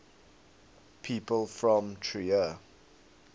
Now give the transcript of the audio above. people from trier